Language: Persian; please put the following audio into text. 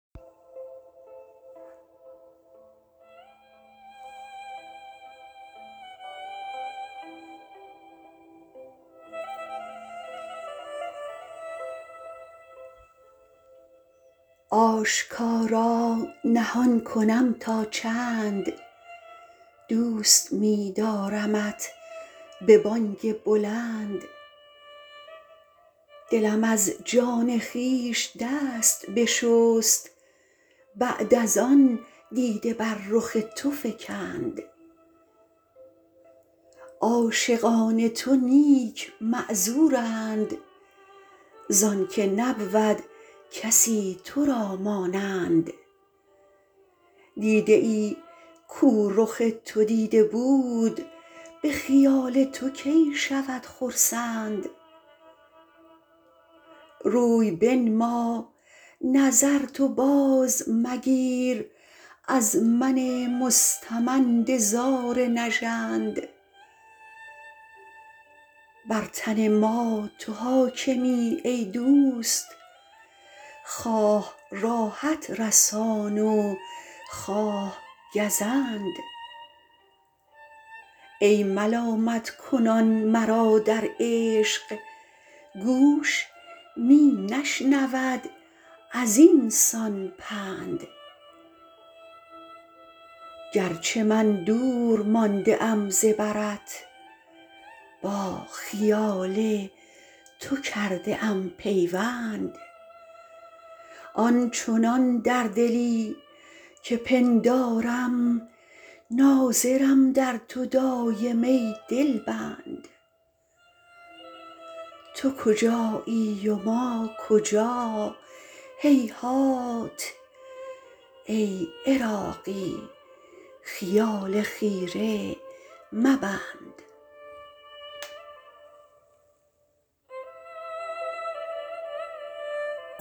آشکارا نهان کنم تا چند دوست می دارمت به بانگ بلند دلم از جان خویش دست بشست بعد از آن دیده بر رخ تو فکند عاشقان تو نیک معذورند زان که نبود کسی تو را مانند دیده ای کو رخ تو دیده بود به خیال تو کی شود خرسند روی بنما نظر تو باز مگیر از من مستمند زار نژند بر تن ما تو حاکمی ای دوست خواه راحت رسان و خواه گزند ای ملامت کنان مرا در عشق گوش می نشنود ازینسان پند گرچه من دور مانده ام ز برت با خیال تو کرده ام پیوند آن چنان در دلی که پندارم ناظرم در تو دایم ای دلبند تو کجایی و ما کجا هیهات ای عراقی خیال خیره مبند